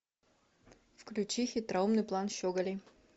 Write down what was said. включи хитроумный план щеголей